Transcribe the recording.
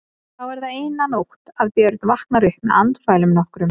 Þá er það eina nótt að Björn vaknar upp með andfælum nokkrum.